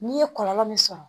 N'i ye kɔlɔlɔ min sɔrɔ